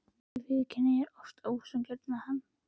Ég viðurkenni að ég er oft ósanngjörn við hann.